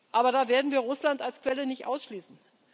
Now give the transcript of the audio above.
Aber da werden wir Russland als Quelle nicht ausschließen.